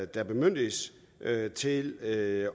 der bemyndiges til at